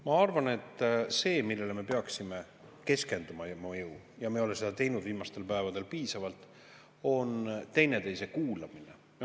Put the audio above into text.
Ma arvan, et see, millele me peaksime keskenduma – ja me ei ole seda viimastel päevadel teinud piisavalt –, on teineteise kuulamine.